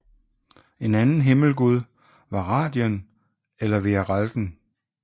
En anden himmelgud var Radien eller Vearalden